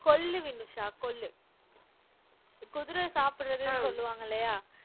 கொள்ளு வினுஷா கொள்ளு குதிரை சாப்பிடுறதுன்னு சொல்லுவாங்க இல்லையா